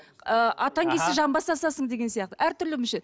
ы атаң келсе жамбас асасың деген сияқты әртүрлі мүше